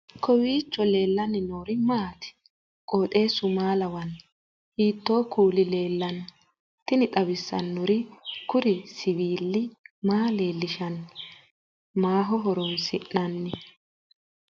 kowiicho leellannori maati ? qooxeessu maa lawaanno ? hiitoo kuuli leellanno ? tini xawissannori kuri siwiili maa leellishshanno maaho horoonsi'nanni